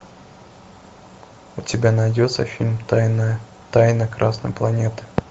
у тебя найдется фильм тайна тайна красной планеты